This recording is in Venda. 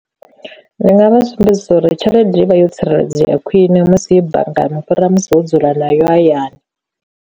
Ndi nga vha sumbedzisa uri tshelede i vha yo tsireledzea khwine musi ye banngani u fhira musi wo dzula nayo hayani.